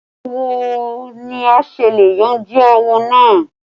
Báwo ni a ṣe le yanjú áwọ̀ náà?